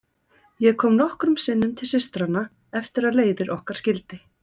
Ég kom nokkrum sinnum til systranna eftir að leiðir okkar skildi.